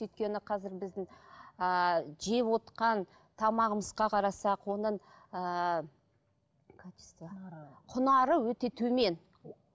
өйткені қазір біздің ыыы жевотқан тамағымызға қарасақ оның ыыы құнары өте төмен